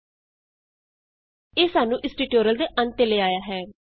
sum is greater than 20 ਇਹ ਸਾਨੂ ਇਸ ਟਿਯੂਟੋਰਿਅਲ ਦੇ ਅੰਤ ਤੇ ਲੈ ਆਇਆ ਹੈ